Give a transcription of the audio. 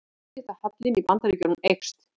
Viðskiptahallinn í Bandaríkjunum eykst